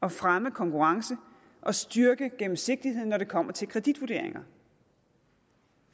at fremme konkurrencen og styrke gennemsigtigheden når det kommer til kreditvurderinger